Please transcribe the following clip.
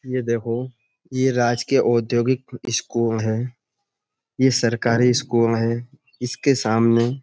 ये देखो ये राजकीय औद्योगिक स्कूल है। ये सरकारी स्कूल है। इसके सामने --